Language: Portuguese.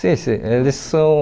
Sim, sim. Eles são